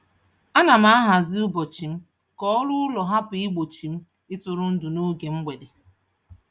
Ana m ahazi ụbọchị m ka ọrụ ụlọ hapụ igbochi m ịtụrụndụ n'oge mgbede.